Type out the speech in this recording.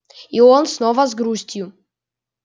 и он снова с грустью